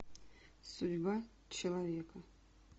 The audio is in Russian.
судьба человека